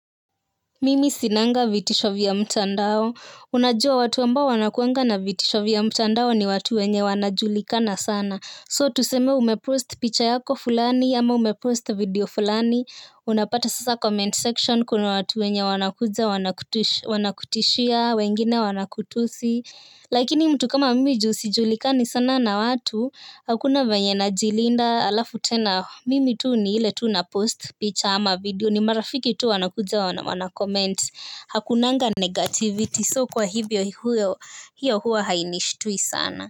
Mimi sinanga vitisho vya mtandao, unajua watu ambao wanakuwanga na vitisho vya mtandao ni watu wenye wanajulikana sana So tuseme umepost picha yako fulani ama umepost video fulani, unapata sasa comment section kuna watu wenye wanakuja wanakutisha wanakutishia, wengine wanakutusi. Lakini mtu kama mimi juu sijulikani sana na watu. Hakuna vyenye najilinda alafu tena mimi tu ni ile tu napost picture ama video. Ni marafiki tu wanakuja wanakoment. Hakunanga negativity So kwa hivyo hiyo huwa hainishtui sana.